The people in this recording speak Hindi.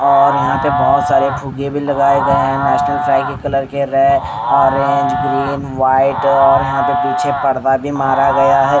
और यहां पे बहोत सारे फुगे भी लगाए गए हैं नेशनल फ्राई के कलर के कलर के रे है ऑरेंज ग्रीन वाइट और यहां पे पीछे पर्दा भी मारा गया है।